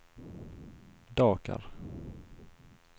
Dakar